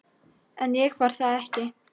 En ég var það ekki.